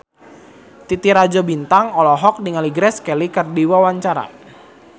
Titi Rajo Bintang olohok ningali Grace Kelly keur diwawancara